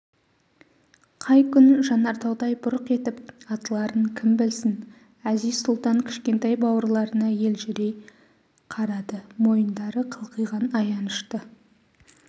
қай күн жанартаудай бұрқ етіп атыларын кім білсін әзиз-сұлтан кшкентай бауырларына еліжрей қарады мойындары қылқиған аянышты